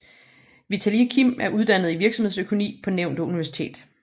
Vitalij Kim er uddannet i virksomhedsøkonomi på nævnte universitet